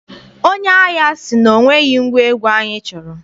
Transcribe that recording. Onye ahịa sị na o nweghị ngwa egwu anyị chọrọ.